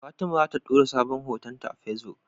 Fatima zata dora sabon hoton ta facebook